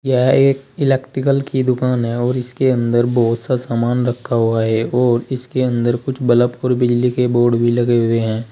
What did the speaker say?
यह एक इलेक्ट्रिकल की दुकान है और इस के अंदर बहुत सा सामान रखा हुआ है और इसके अंदर कुछ बल्ब और बिजली के बोर्ड भी लगे हुए हैं।